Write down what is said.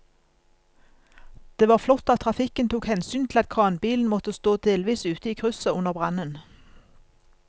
Det var flott at trafikken tok hensyn til at kranbilen måtte stå delvis ute i krysset under brannen.